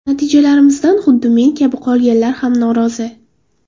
Natijalarimizdan xuddi men kabi qolganlar ham norozi.